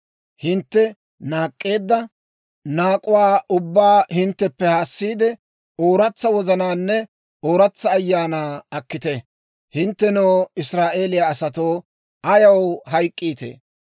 Hintte naak'k'eedda naak'uwaa ubbaa hintteppe haasiide, ooratsa wozanaanne ooratsa ayaanaa akkite. Hinttenoo Israa'eeliyaa asatoo, ayaw hayk'k'iitee?